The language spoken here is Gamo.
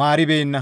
maaribeenna.